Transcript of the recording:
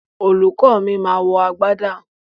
Olùkó mi ma wọ agbádá